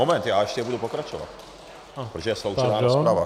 Moment, já ještě budu pokračovat, protože je sloučená rozprava.